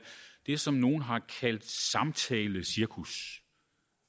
det som nogle har kaldt samtalecirkus